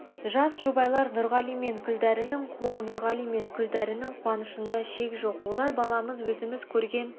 жас жұбайлар нұрғали мен күлдәрінің қуа нұрғали мен күлдәрінің қуанышында шек жоқ олар баламыз өзіміз көрген